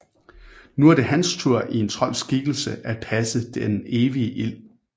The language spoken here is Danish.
Nu er det hans tur i en trolds skikkelse at passe den evige ild